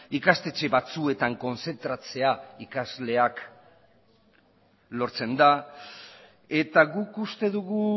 ikastetxe batzuetan kontzentratzea ikasleak lortzen da eta guk uste dugu